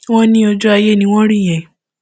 wọn ní ojú ayé ni wọn rí yẹn